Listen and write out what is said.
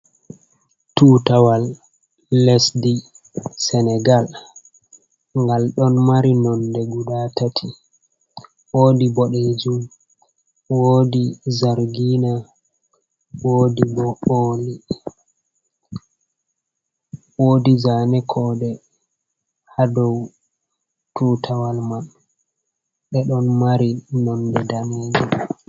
Tutawal lesdi senegal ngal ɗon mari nonde guda tati woodi boɗejum, woodi zargina woodi zaane koode ha dou tutawal man ɓe ɗon mari nonde daneejum.